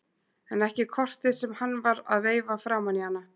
En ekki kortið sem hann var að veifa framan í hana!